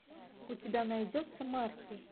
у тебя найдется марти